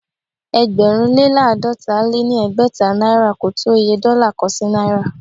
ẹgbẹ̀rún lé láàdọ́ta lé ní ẹgbẹ́ta náìrà ko tó Iye dọ́là kan sí náìrà.